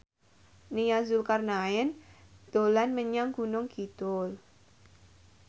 Nia Zulkarnaen dolan menyang Gunung Kidul